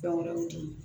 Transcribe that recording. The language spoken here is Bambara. Fɛn wɛrɛw di